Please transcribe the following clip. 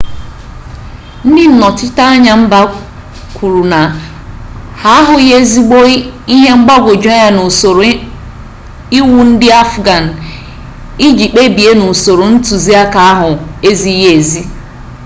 ndị nnọchiteanya mba kwuru na ha ahụghị ezigbi ihe mgbagwujuanya n'usoro iwu ndị afghan iji kpebie n'usoro ntụziaka ahụ ezighị ezi